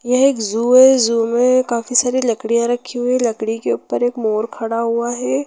यह एक जू है जू में काफी सारी लकड़िया रखी हुई है लकड़ी के ऊपर मोर खड़ा हुआ है।